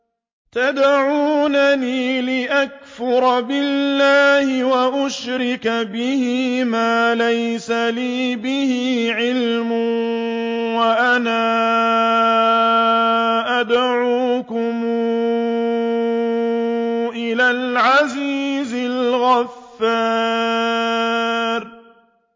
تَدْعُونَنِي لِأَكْفُرَ بِاللَّهِ وَأُشْرِكَ بِهِ مَا لَيْسَ لِي بِهِ عِلْمٌ وَأَنَا أَدْعُوكُمْ إِلَى الْعَزِيزِ الْغَفَّارِ